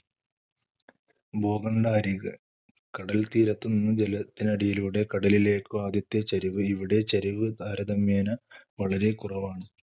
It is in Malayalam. ഭൂഖണ്ഡ അരിക് കടൽത്തീരത്തു നിന്ന് ജലത്തിനടിയിലൂടെ കടലിലേക്കുള്ള ആദ്യത്തെ ചരിവ്. ഇവിടെ ചരിവ് താരതമ്യേന വളരെ കുറവാണ്.